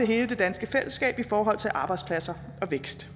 hele det danske fællesskab i forhold til arbejdspladser og vækst